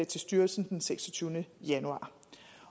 til styrelsen den seksogtyvende januar